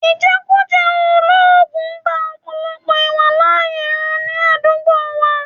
Ìjẹkújẹ̀ẹ́ olóògùn ba ọ̀pọ̀lọpọ̀ ìwàláàyè ru ní àdúgbò wa